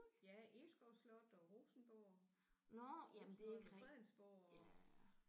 Ja Egeskov Slot og Rosenborg Rosenholm og Fredensborg og